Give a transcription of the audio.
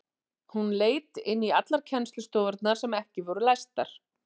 Hún leit inn í allar kennslustofurnar sem ekki voru læstar.